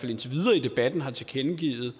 indtil videre i debatten har tilkendegivet